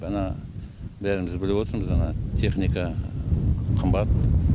бұны бәріміз біліп отырмыз ана техника қымбат